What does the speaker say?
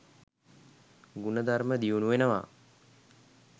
ගුණධර්ම දියුණු වෙනවා.